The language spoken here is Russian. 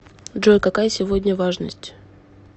джой какая сегодня важность